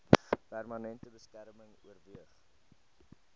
permanente beskerming oorweeg